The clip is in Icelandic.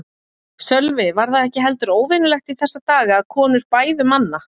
Sölvi: Var það ekki heldur óvenjulegt í þessa daga að konur bæðu manna?